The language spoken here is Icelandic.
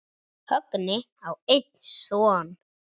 Högni á einn son.